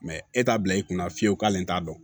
e t'a bila i kunna fiyewu k'ale t'a dɔn